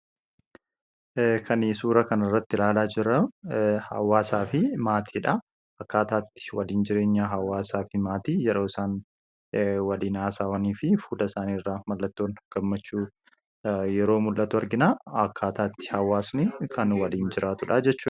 kanii suura kanirratti ilaallu hawaasaa fi maatii dha akkaataa itti waliin jireenya hawaasaa fi maatii yeroo isaan walii n haasaawanii fi fuula isaanii irraa mallattoon gammachuu yeroo mul'atu arginaa akkaataatti hawaasni kan waliin jiraatudha jechuudha.